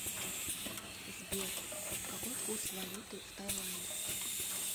сбер какой курс валюты в таиланде